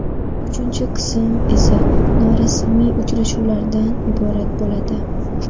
Uchinchi qism esa norasmiy uchrashuvlardan iborat bo‘ladi.